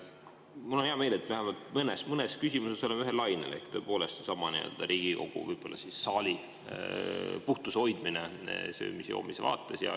Mul on hea meel, et vähemalt mõnes küsimuses me oleme ühel lainel, ehk sellesama Riigikogu saalis puhtuse hoidmise, siin söömise ja joomise vaates.